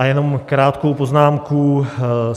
A jenom krátkou poznámku.